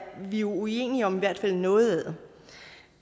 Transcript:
vi uenige om i hvert fald noget